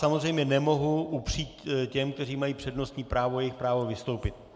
Samozřejmě nemohu upřít těm, kteří mají přednostní právo, jejich právo vystoupit.